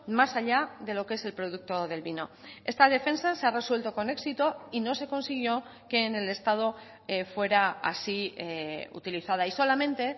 más allá de lo que es el producto del vino esta defensa se ha resuelto con éxito y no se consiguió que en el estado fuera así utilizada y solamente